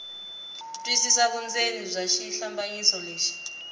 twisisa vundzeni bya xihlambanyiso lexi